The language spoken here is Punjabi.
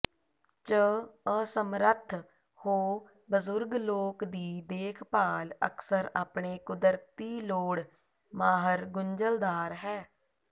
ਚ ਅਸਮਰੱਥ ਹੋ ਬਜ਼ੁਰਗ ਲੋਕ ਦੀ ਦੇਖਭਾਲ ਅਕਸਰ ਆਪਣੇ ਕੁਦਰਤੀ ਲੋੜ ਮਾਹਰ ਗੁੰਝਲਦਾਰ ਹੈ